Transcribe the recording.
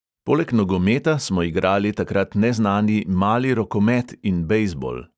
Poleg nogometa smo igrali takrat neznani mali rokomet in bejzbol.